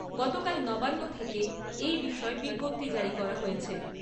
গতকাল নবান্ন থেকে এই বিষয়ে বিজ্ঞপ্তি জারি করা হয়েছে ।